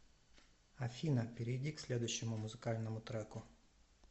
афина перейди к следующему музыкальному треку